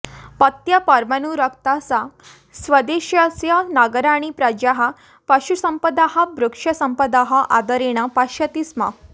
पत्या पर्मानुरक्ता सा स्वदेशस्य नगराणि प्रजाः पशुसम्पदः वृक्षसम्पदः आदरेण पश्यति स्म